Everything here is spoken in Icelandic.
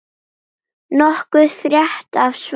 Nokkuð frétt af Svani?